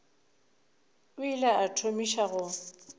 o ile a thomiša go